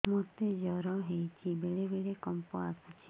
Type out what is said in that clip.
ମୋତେ ଜ୍ୱର ହେଇଚି ବେଳେ ବେଳେ କମ୍ପ ଆସୁଛି